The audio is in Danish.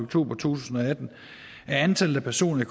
to tusind og atten er antallet af personer i